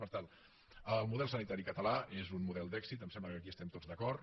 per tant el model sanitari català és un model d’èxit em sembla que aquí hi estem tots d’acord